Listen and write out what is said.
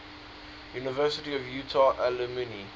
university of utah alumni